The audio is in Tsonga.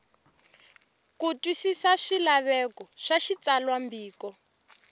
ku twisisa swilaveko swa xitsalwambiko